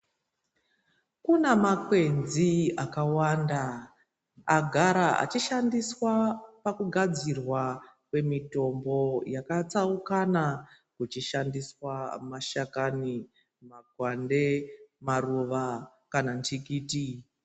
Kuna makwenzi akawanda agara achishandiswa pakugadzirwa kwemitombo yakatsaukana kuchishandiswa mashakani, makwande, maruva kana nhikiti.